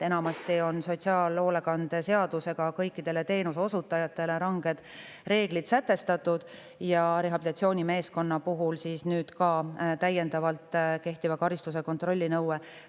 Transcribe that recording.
Enamasti on sotsiaalhoolekande seadusega kõikidele teenuseosutajatele sätestatud ranged reeglid ja nüüd on ka rehabilitatsioonimeeskonna puhul täiendav kehtiva karistuse kontrolli nõue.